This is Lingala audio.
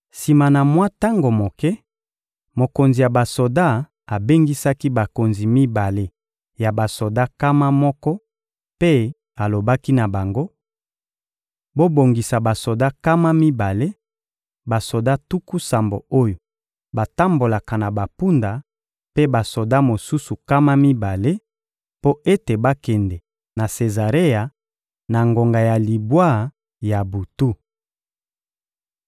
Sima na mwa tango moke, mokonzi ya basoda abengisaki bakonzi mibale ya basoda nkama moko mpe alobaki na bango: — Bobongisa basoda nkama mibale, basoda tuku sambo oyo batambolaka na bampunda mpe basoda mosusu nkama mibale, mpo ete bakende na Sezarea, na ngonga ya libwa ya butu.